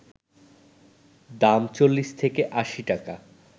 দাম ৪০ থেকে ৮০ টাকা